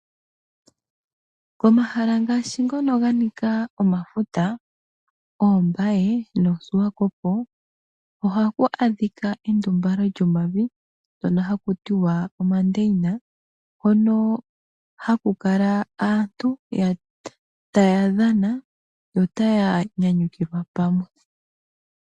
Komahala ngashi ngono ganika omafuta Ombaye nOsuwakopo ohaku monika endumbalo lyomavi ndjono haku tiwa omandeyina hono kala aantu taya dhana notaya nyanyukilwa pamwe.